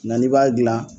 Nga n'i b'a gilan